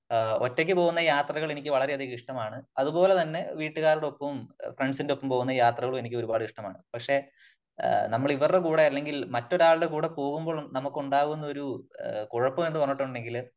ആ ഒറ്റയ്ക്ക് പോകുന്ന യാത്രകള് എനിക്ക് വളരെ അധികം ഇഷ്ടമാണ് . അത് പോലെ തന്നെ വീട്ടുകാരോടപ്പവും ഫ്രെൻഡ്സ് ന്റെ ഒപ്പം പോകുന്ന യാത്രകളും എനിക്ക് ഒരുപാട് ഇഷ്ടമാണ് . പക്ഷേ നമ്മൾ ഇവരുടെ കൂടെ അല്ലെങ്കിൽ മറ്റൊരാളുടെ കൂടെ പോകുമ്പോൾ നമുക്കുണ്ടാകുന്ന ഒരു കുഴപ്പമെന്ന് പറഞ്ഞിട്ടുണ്ടെങ്കിൽ